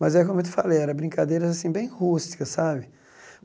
Mas, como eu te falei, era brincadeira bem rústica, sabe?